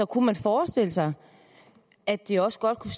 kunne man forestille sig at det også godt kunne